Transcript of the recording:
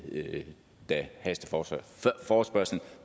da forespørgslen